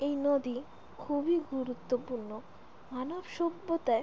এই নদী খুব গুরুত্বপূর্ণ মানব সভ্যতায়।